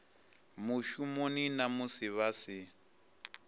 mushumoni na musi vha si